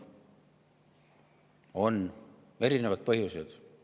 On erinevad põhjused.